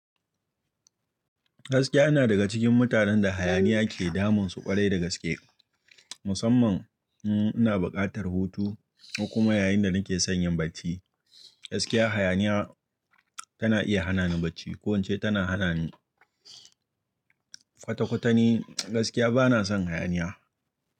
Gaskiya ina daga cikin mutanen da hayaniya ke damunsu ƙwarai da gaske. Musamman in ina buƙatar hutu ko kuma yayin da nake son yin bacci, gaskiya hayaniya tana iya hana ni bacci ko ince tana hana ni kwata-kwata ni. Gaskiya bana son hayaniya.